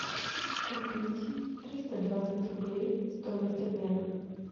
купить триста двадцать рублей стоимость обмена